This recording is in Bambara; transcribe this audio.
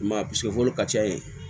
I m'a ye ka ca yen